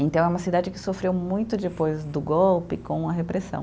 Então, é uma cidade que sofreu muito depois do golpe com a repressão.